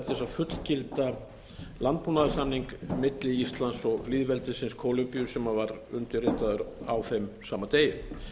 að fullgilda landbúnaðarsamning milli íslands og lýðveldisins kólumbíu sem var undirritaður á þeim sama degi